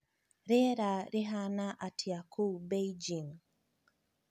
rīera rīhana atīa kūu Beijing